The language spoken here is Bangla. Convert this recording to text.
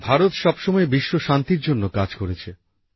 ভারত সবসময়ই বিশ্বশান্তির জন্য কাজ করেছে